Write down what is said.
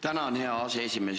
Tänan, hea aseesimees!